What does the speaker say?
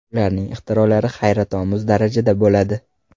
Ularning ixtirolari hayratomuz darajada bo‘ladi.